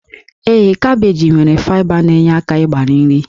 Ee, kabeeji nwere faịba na-enyere aka ịgbari nri